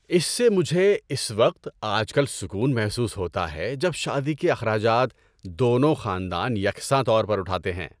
اس سے مجھے اس وقت آج کل سکون محسوس ہوتا ہے جب شادی کے اخراجات دونوں خاندان یکساں طور پر اٹھاتے ہیں۔